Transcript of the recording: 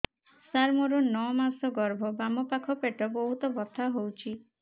ସାର ମୋର ନଅ ମାସ ଗର୍ଭ ବାମପାଖ ପେଟ ବହୁତ ବଥା ହଉଚି